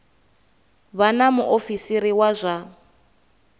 vha na muofisiri wa zwa